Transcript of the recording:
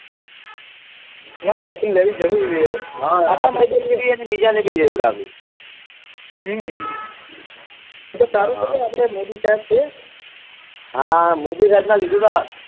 ના vaccine લેવી જરૂરી છે આપડા માટે લીયે અને બીજા ને ભી લેવરાવી હમ એતો સારું છે કે આપડે મોદી સાહેબ છે હા મોદી સાહેબ ના લીધે તો